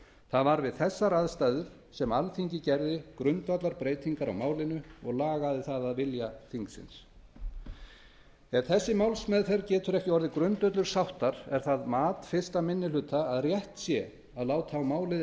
það var við þessar aðstæður sem alþingi gerði grundvallarbreytingar á málinu og lagaði það að vilja þingsins ef þessi málsmeðferð getur ekki orðið grundvöllur sáttar er það mat fyrsti minni hluta að rétt sé að láta á málið